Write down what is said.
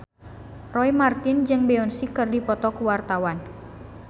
Roy Marten jeung Beyonce keur dipoto ku wartawan